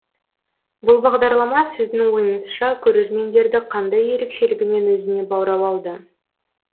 бұл бағдарлама сіздің ойыңызша көрермендерді қандай ерекшелігімен өзіне баурап алды